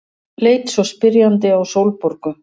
Leit svo spyrjandi á Sólborgu.